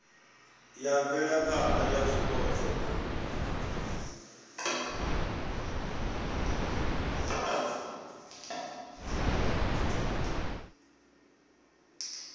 ya mvelaphana ya zwipotso na